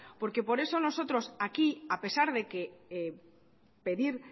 porque por eso nosotros aquí a pesar de pedir